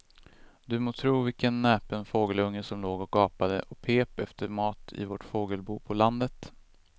Du må tro vilken näpen fågelunge som låg och gapade och pep efter mat i vårt fågelbo på landet.